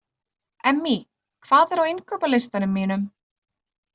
Emmý, hvað er á innkaupalistanum mínum?